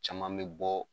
Caman bɛ bɔ